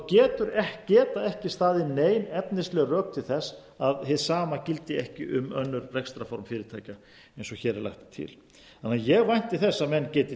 geta ekki staðið nein efnisleg rök til þess að hið sama gildi ekki um önnur rekstrarform fyrirtækja eins og hér er lagt til þannig að ég vænti þess að menn geti